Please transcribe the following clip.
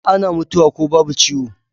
Ana mutuwa ko babu ciwo